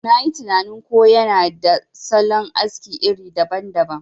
Nayi tinanin ko yana da salon aski iri daban daban.